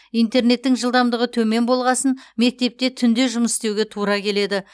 интернеттің жылдамдығы төмен болғасын мектепте түнде жұмыс істеуге тура келеді